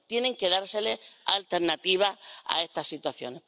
Tiene que dárseles alternativa a esta situación.